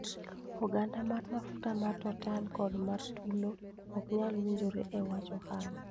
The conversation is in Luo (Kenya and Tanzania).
Oganda mar mafuta mar Total kod mar Tullow ok nyal winjore e wach ohala